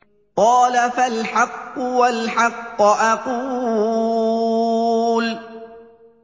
قَالَ فَالْحَقُّ وَالْحَقَّ أَقُولُ